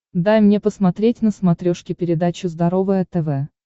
дай мне посмотреть на смотрешке передачу здоровое тв